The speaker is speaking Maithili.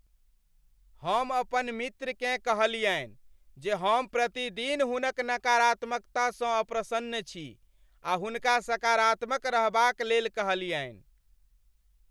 हम अपन मित्रकेँ कहलियनि जे हम प्रतिदिन हुनक नकारात्मकतासँ अप्रसन्न छी आ हुनका सकारात्मक रहबाक लेल कहलियनि ।